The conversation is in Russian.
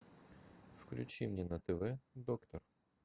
включи мне на тв доктор